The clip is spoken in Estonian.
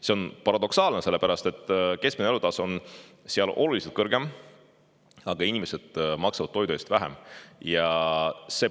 See on paradoksaalne, sest keskmine elatustase on seal oluliselt kõrgem, aga inimesed maksavad toidu eest vähem.